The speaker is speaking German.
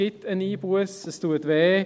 Es gibt eine Einbusse, und diese tut weh.